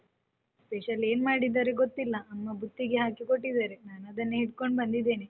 Special ಏನ್ ಮಾಡಿದ್ದಾರೆ ಗೊತ್ತಿಲ್ಲ ಅಮ್ಮ ಬುತ್ತಿಗೆ ಹಾಕಿ ಕೊಟ್ಟಿದ್ದಾರೆ, ನಾನ್ ಅದನ್ನೇ ಹಿಡ್ಕೊಂಡು ಬಂದಿದ್ದೇನೆ.